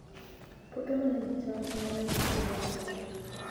Puothe ma nigi cham ema nyago chiemo mang'eny.